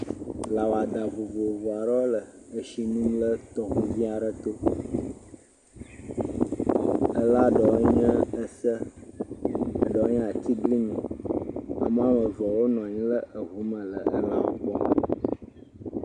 Lã wɔdã vovovo aɖewo le tsi nom le to vi aɖe to. Lã ɖewo nye se, ɖewo nye atiglinyi. Ame eve wona anyi ɖe ŋu me le lãwo gbɔ.